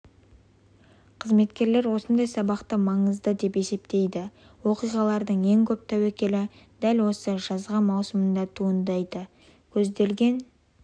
қызметкерлер осындай сабақтарды маңызды деп есептейді оқиғалардың ең көп тәуекелі дәл осы жазғы маусымда туындайды көзделген